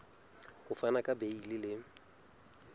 ho fana ka beile le